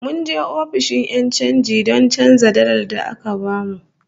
Mun je ofishin 'yan chanji don canza dalar da aka bamu